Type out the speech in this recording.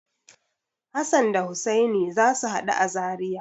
Hassan da Hussani za su haɗu a Zariya.